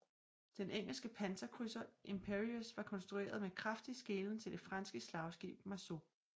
Den engelske panserkrydser Imperieuse var konstrueret med kraftig skelen til det franske slagskib Marceau